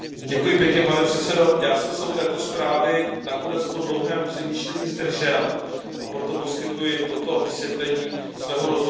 Pane předsedající, já jsem se u této zprávy nakonec po dlouhém přemýšlení zdržel, a proto poskytuji toto vysvětlení svého rozhodnutí.